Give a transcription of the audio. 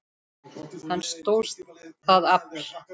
Hann stóðst það afl.